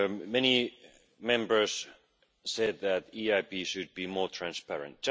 Many Members said that the EIB should be more transparent.